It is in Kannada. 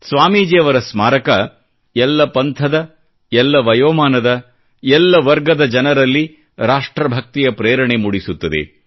ಸ್ವಾಮೀಜಿಯವರ ಸ್ಮಾರಕ ಎಲ್ಲ ಪಂಥದ ಎಲ್ಲ ವಯೋಮಾನದ ಎಲ್ಲ ವರ್ಗದ ಜನರಲ್ಲಿ ರಾಷ್ಟ್ರ ಭಕ್ತಿಯ ಪ್ರೇರಣೆ ಮೂಡಿಸುತ್ತದೆ